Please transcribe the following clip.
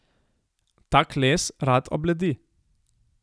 Tak les rad obledi.